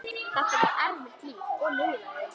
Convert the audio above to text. Þetta var erfitt líf og niðurlægjandi.